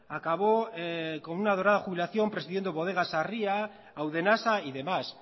acabó con una dorada jubilación presidiendo bodegas sarría audenasa y demás